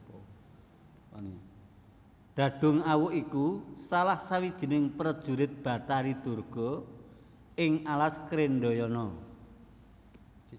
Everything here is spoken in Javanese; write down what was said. Dhadhungawuk iku salah sawijining prejurit Batari Durga ing alas Krendhayana